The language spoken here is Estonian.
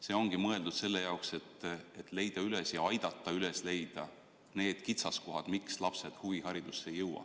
See ongi mõeldud selle jaoks, et leida üles need kitsaskohad, miks lapsed huviharidusse ei jõua.